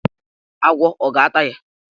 Agwọ ọ ga-ata ya?